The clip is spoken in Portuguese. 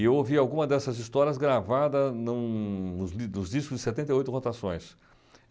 E eu ouvi alguma dessas histórias gravada em um nos nos discos de setenta e oito Rotações.